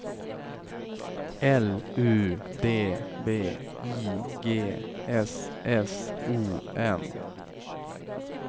L U D V I G S S O N